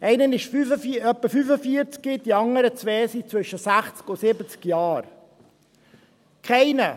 Einer ist ungefähr 45, die anderen beiden sind zwischen 60 und 70 Jahren alt.